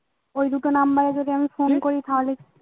ওই দুটো number এ আমি যদি phone করি তাহলে